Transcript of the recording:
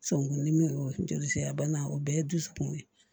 Sonkundimi ye joli sira bana o bɛɛ ye dusukun ye